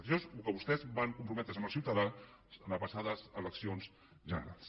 això és al que vostès van comprometre’s amb els ciutadans les passades eleccions generals